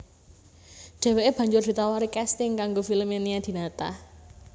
Dheweke banjur ditawari kasting kanggo filme Nia Dinata